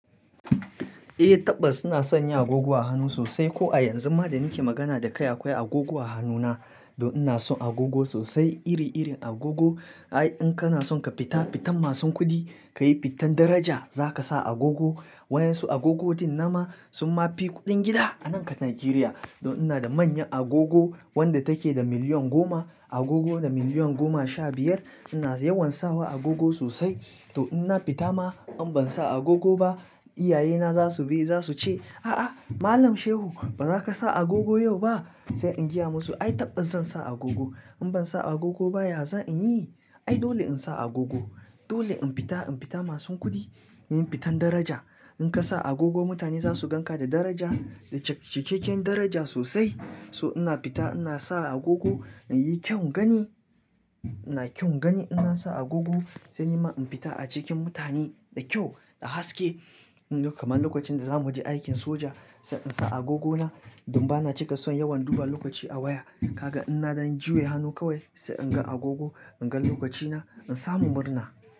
Eh, tabas ina sanya agogo a hannu sosai ko a yanzu ma da nike magana da kai akwai agogo a hannu na. To ina son agogo sosai iri-irin agogo. Ai in kana son ka fita fitan masu kuɗi, ka yi fitan daraja za ka sa agogo. Wayansu agogodin nama sun ma fi kuɗin gida a nan ƙat Najeriya don ina da manyan agogo wadda take da miliyan goma, agogo da miliyan goma sha biyar. Ina yawan sawa agogo sosai. To in na fita ma in ban sa agogo ba, iyayena za su bi za su ce, a'a Malam Shehu ba za ka sa agogo yau ba?" Sai in jiya musu, ai tabɓas zan sa agogo. In ban sa agogo baya za inyi? Ai dole in sa agogo. Dole in fita, in fita masu kuɗi, yin fitan daraja. In ka sa agogo mutane za su gan ka da daraja da cikakken daraja sosai. So ina fita ina sa agogo, in yi kyau gani. Ina kyau gani in na sa agogo sai ni ma in fita a cikin mutane da kyau da haske. Kamar lokacin da za mu waje aikin soja sai in sa agogona, don ba na cika son yawan duba lokaci a waya. Kaga in na dan yi juye hannu kawai sai in ga agogo, in ga lokacina, in samu murna.